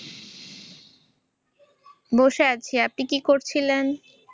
বসে আছি। আপনি কী করছিলেন?